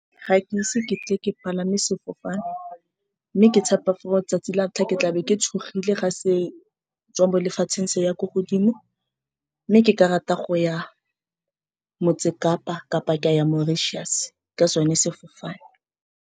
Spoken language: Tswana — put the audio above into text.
Ga ke ise ke tle ke palame sefofane, mme ke tshepa for-e letsatsi la ntlha ke tlabe ke tshogile. Ga se tswa bo lefatsheng, se ya ko godimo, mme ke ka rata go ya motse kapa kapa Mauritius ka sone sefofane.